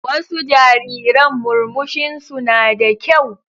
Wasu jariran murmushinsu na da kyau.